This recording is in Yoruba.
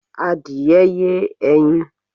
Adìẹ ye ẹyin